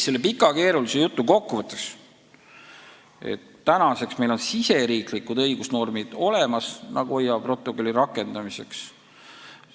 Selle pika ja keerulise jutu kokkuvõtteks kinnitan, et meil on olemas riigisisesed õigusnormid Nagoya protokolli rakendamiseks.